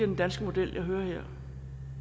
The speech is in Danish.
den danske model jeg hører omtalt her